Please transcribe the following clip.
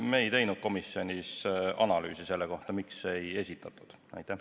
Me ei teinud komisjonis analüüsi selle kohta, miks rohkem muudatusettepanekuid ei esitatud.